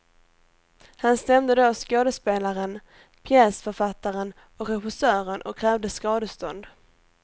Han stämde då skådespelaren, pjäsförfattaren och regissören och krävde skadestånd.